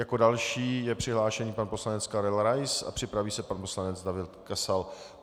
Jako další je přihlášený pan poslanec Karel Rais a připraví se pan poslanec David Kasal.